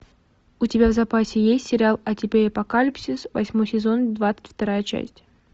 у тебя в запасе есть сериал а теперь апокалипсис восьмой сезон двадцать вторая часть